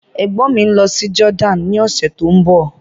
Ègbọ́n mi ń lọ sí Jordan ní ọ̀sẹ̀ tó ń bọ̀.